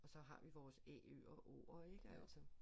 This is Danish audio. Og så har vi vores Æ Ø og Å'er ik altså